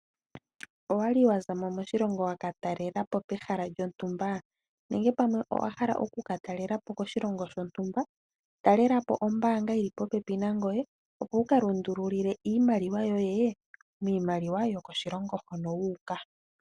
Owali wa zamo moshilongo waka talelapo pehala lyontumba nenge pamwe owa hala oku katalelapo koshilongo shontumba, talelapo ombanga yili popepi nangoye opo wu kalundululile iimaliwa yoye miimaliwa yokoshilongo hono wu uka.